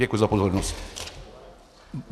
Děkuji za pozornost.